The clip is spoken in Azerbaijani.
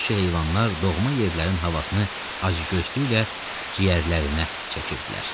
Vəhşi heyvanlar doğma yerlərin havasını acgözlüklə ciyərlərinə çəkirdilər.